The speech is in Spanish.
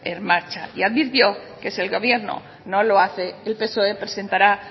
en marcha y advirtió que si el gobierno no lo hace el psoe presentarán